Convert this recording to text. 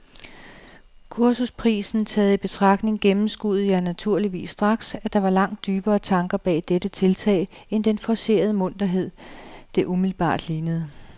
Kursusprisen taget i betragtning gennemskuede jeg naturligvis straks, at der var langt dybere tanker bag dette tiltag end den forcerede munterhed, det umiddelbart lignede.